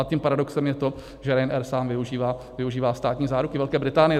A tím paradoxem je to, že Ryanair sám využívá státní záruku Velké Británie.